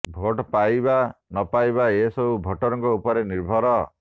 vote ପାଇବା ନ ପାଇବା ଏସବୁ ଭୋଟରଙ୍କ ଉପରେ ନିର୍ଭର